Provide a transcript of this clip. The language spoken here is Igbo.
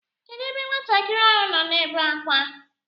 Kedụ ebe nwatakịrị ahụ nọ na-ebe akwa?